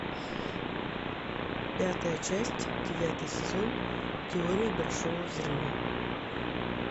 пятая часть девятый сезон теория большого взрыва